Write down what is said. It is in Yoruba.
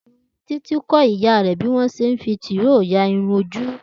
Títí kó̩ ìyá rè̩ bí wó̩n s̩e ń fi tìróò ya irun ojú